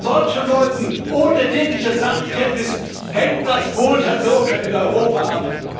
Und von solchen Leuten ohne jegliche Sachkenntnis hängt das Wohl der Bürger in Europa ab.